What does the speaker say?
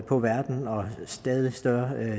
på verden og stadig større